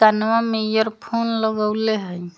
कनवा मे एयरफोन लगउले हइ।